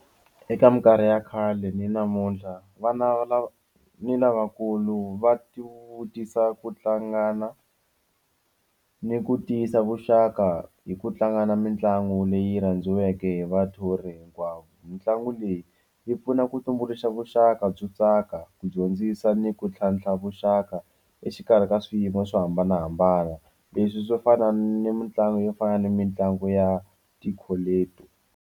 Eka minkarhi ya khale ni namuntlha vana lava ni lavakulu va ti vutisa ku hlangana ni ku tiyisa vuxaka hi ku tlanga mitlangu leyi kandziweke hi vathori hinkwawo mitlangu leyi yi pfuna ku tumbuluxa vuxaka byo tsaka ku dyondzisa ni ku tlhantlha vuxaka exikarhi ka swiyimo swo hambanahambana leswi swo fana ni mitlangu yo fana ni mitlangu ya ti .